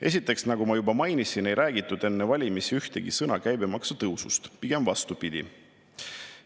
Esiteks, nagu ma juba mainisin, ei räägitud enne valimisi ühtegi sõna käibemaksu tõusust, pigem vastupidi.